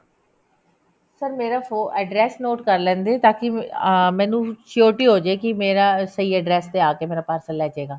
sir ਮੇਰਾ address note ਕਰ ਲਿੰਦੇ ਤਾਂਕਿ ਮੈਨੂੰ surety ਹੋ ਜੇ ਕਿ ਮੇਰਾ ਸਹੀ address ਤੇ ਆ ਕੇ ਮੇਰਾ parcel ਲੈਜੇਗਾ